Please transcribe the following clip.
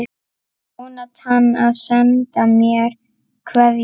Jónatan að senda mér kveðju?